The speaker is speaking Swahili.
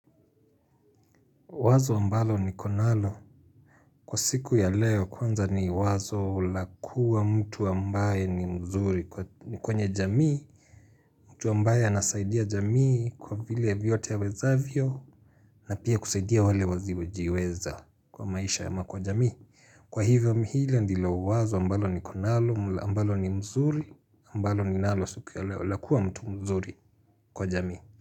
Wazo ambalo ni konalo kwa siku ya leo kwanza ni wazo la kuwa mtu ambaye ni mzuri ni kwenye jamii mtu ambaye anasaidia jamii kwa vile vyote awezavyo na pia kusaidia wale wasiojiweza kwa maisha ya makwa jamii Kwa hivyo mhile ndilo wazo ambalo ni konalo ambalo ni mzuri ambalo ni nalo siku ya leo lakuwa mtu mzuri kwa jamii.